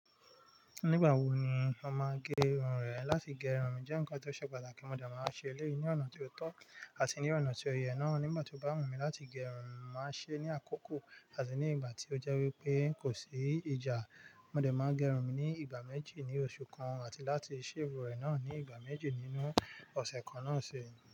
Nígbà wo ni ó máa n gé irun rẹ̀? Láti gé irun mi jẹ́ nǹkan tó ṣe pàtàkì, mo de máa ń ṣe eléyìí ní ọ̀nà tí ó tọ́ àti ní ọ̀nà tí o ye náà. Nígbà tí ó bá wù mí láti gé irun mi, màá ṣe é ní àkókò àti ní ìgbà tí ó jẹ́ wípé kò sí ìjà. Mo de máa gẹ irun mi ní ìgbà méjì ní oṣù kan àti láti shave ẹ̀ náà ní ìgbà méjì nínú ọ̀sẹ̀ kan náà sii.